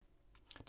DR2